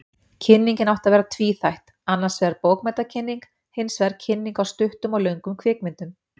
Kynningin átti að vera tvíþætt, annarsvegar bókmenntakynning, hinsvegar kynning á stuttum og löngum kvikmyndum.